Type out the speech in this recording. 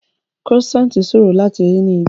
Croissant ṣòro láti rí ní ibí